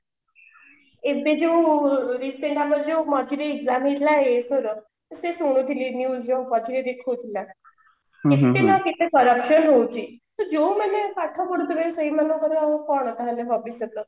ଏବେ ଯୋଉ recent ଆମର ଯୋଉ ମଝିରେ exam ହେଇଥିଲା ଏଇଥର ତ ସେ ଶୁଣିଥିଲି news ରୁ ପଛରେ ଦେଖଉ ଥିଲା କେତେ ନା କେତେ corruption ହଉଛି ତ ଯୋଉମାନେ ପାଠ ପଢୁଥିବେ ସେଇ ମାନଙ୍କର କଣ ତାହାଲେ ଭବିଷ୍ୟତ